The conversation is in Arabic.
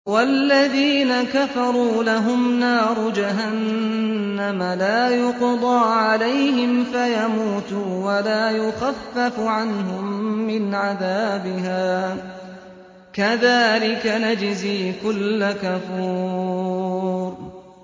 وَالَّذِينَ كَفَرُوا لَهُمْ نَارُ جَهَنَّمَ لَا يُقْضَىٰ عَلَيْهِمْ فَيَمُوتُوا وَلَا يُخَفَّفُ عَنْهُم مِّنْ عَذَابِهَا ۚ كَذَٰلِكَ نَجْزِي كُلَّ كَفُورٍ